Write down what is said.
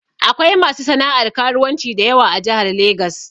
Akwai masu sana'ar karuwanci dayawa a Jahar Legas